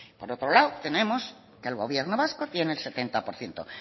por otro lado tenemos que el gobierno vasco tiene el setenta por ciento